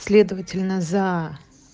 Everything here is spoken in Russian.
следовательно за